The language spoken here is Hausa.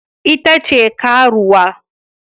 Ita ce karuwa